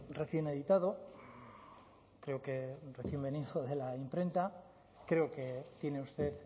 recién editado creo que recién venido de la imprenta creo que tiene usted